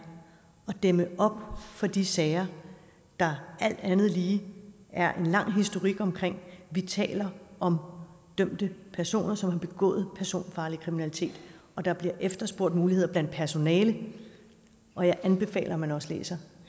at dæmme op for de sager der alt andet lige er en lang historik om vi taler om dømte personer som har begået personfarlig kriminalitet og der bliver efterspurgt muligheder blandt personalet og jeg anbefaler at man også læser